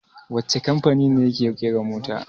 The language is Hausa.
Wacce kamfani ne yake ƙera mota?